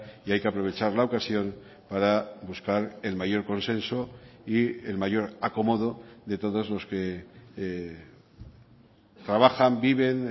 y hay que aprovechar la ocasión para buscar el mayor consenso y el mayor acomodo de todos los que trabajan viven